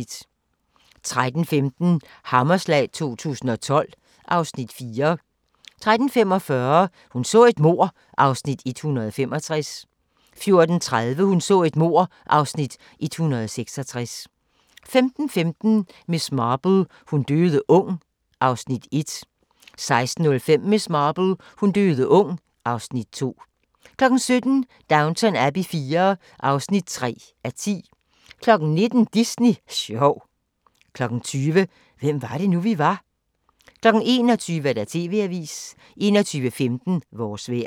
13:15: Hammerslag 2012 (Afs. 4) 13:45: Hun så et mord (Afs. 165) 14:30: Hun så et mord (Afs. 166) 15:15: Miss Marple : Hun døde ung (Afs. 1) 16:05: Miss Marple: Hun døde ung (Afs. 2) 17:00: Downton Abbey IV (3:10) 19:00: Disney sjov 20:00: Hvem var det nu, vi var? 21:00: TV-avisen 21:15: Vores vejr